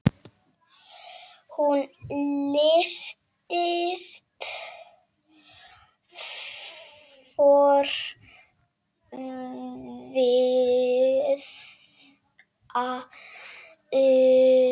Hún litast forviða um.